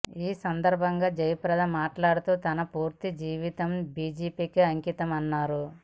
ఈ సందర్భంగా జయప్రద మాట్లాడుతూ తన పూర్తి జీవితం బీజేపీకి అంకితమని అన్నారు